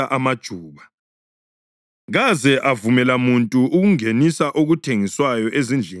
kaze avumela muntu ukungenisa okuthengiswayo ezindlini zethempeli.